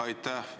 Aitäh!